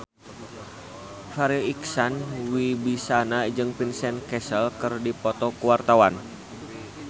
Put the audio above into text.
Farri Icksan Wibisana jeung Vincent Cassel keur dipoto ku wartawan